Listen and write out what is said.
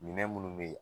Minɛn minnu bɛ yen